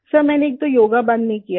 sir मैंने एक तो योग बंद नहीं किया है